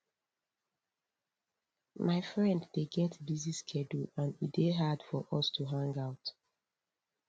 my friend dey get busy schedule and e dey hard for us to hang out